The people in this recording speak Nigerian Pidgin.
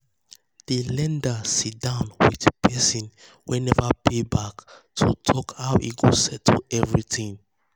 um di lender sit um down with person wey never pay back to talk um how e go settle everything.